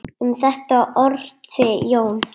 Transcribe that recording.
Um þetta orti Jón